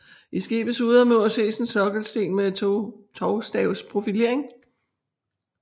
I skibets sydmur ses en sokkelsten med tovstavsprofilering